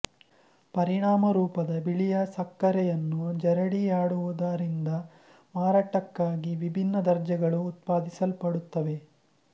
ಪರಿಣಾಮರೂಪದ ಬಿಳಿಯ ಸಕ್ಕರೆಯನ್ನು ಜರಡಿಯಾಡುವುದರಿಂದ ಮಾರಾಟಕ್ಕಾಗಿ ವಿಭಿನ್ನ ದರ್ಜೆಗಳು ಉತ್ಪಾದಿಸಲ್ಪಡುತ್ತವೆ